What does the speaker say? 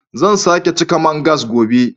Zan sake cika man gas gobe